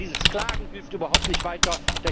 Aber dieses Klagen hilft überhaupt nicht weiter.